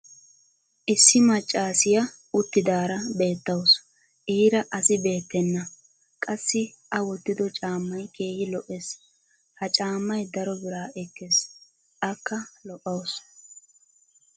Issi macaassiya uttidaara beetawusu. Iira asi beettenna. Qassi a wottiddo caammay keehi lo'ees. Ha caamay daro biraa ekees. akka lo'awusu.